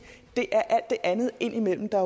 det er alt det andet indimellem der